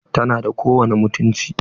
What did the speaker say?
Tana da kowani mutunci?